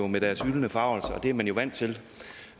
med deres hylende forargelse det er man jo vant til